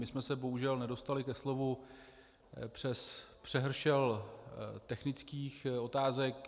My jsme se bohužel nedostali ke slovu přes přehršli technických otázek.